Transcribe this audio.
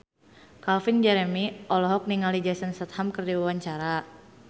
Calvin Jeremy olohok ningali Jason Statham keur diwawancara